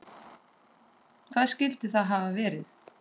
Hvað skyldi það hafa verið?